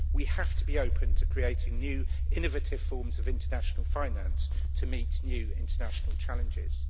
We have to be open to creating new innovative forms of international finance to meet new international challenges.